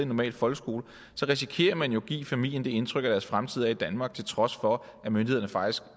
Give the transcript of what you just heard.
normal folkeskole risikerer man jo at give familien det indtryk at deres fremtid er i danmark til trods for at myndighederne faktisk